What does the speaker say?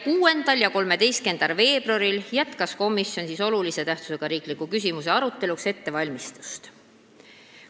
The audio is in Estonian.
6. ja 13. veebruaril jätkas komisjon olulise tähtsusega riikliku küsimuse aruteluks ettevalmistamist.